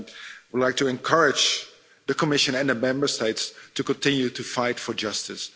I would like to encourage the Commission and the Member States to continue to fight for justice.